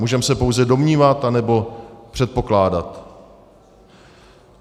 Můžeme se pouze domnívat anebo předpokládat.